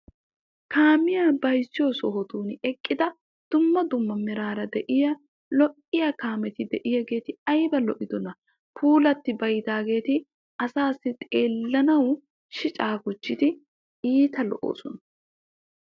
Kaamiyaa bayzziyoo sohotun eqqida dumma dumma meraara de"iyaa lo"iyaa kaameti de"iyaageeti ayba lo"idonaa. Puulatti baydaageeti asaassi xeellanaw shicaa gujjidi iita lo'oosona.